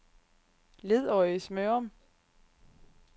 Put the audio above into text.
Ledøje-Smørum